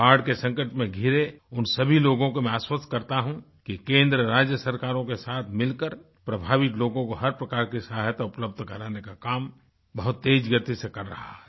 बाढ़ के संकट में घिरे उन सभी लोगों को मैं आश्वस्त करता हूँ कि केंद्र राज्य सरकारों के साथ मिलकर प्रभावित लोगों को हर प्रकार की सहायता उपलब्ध कराने का काम बहुत तेज गति से कर रहा है